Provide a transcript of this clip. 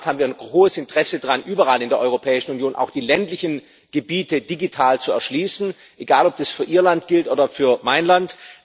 In der Tat haben wir ein großes Interesse daran, überall in der Europäischen Union auch die ländlichen Gebiete digital zu erschließen egal, ob das für Ihr Land gilt oder für mein Land.